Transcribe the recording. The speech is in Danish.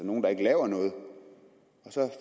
nogle der ikke laver noget